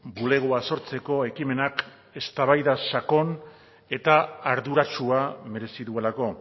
bulegoa sortzeko ekimenak eztabaida sakon eta arduratsua merezi duelako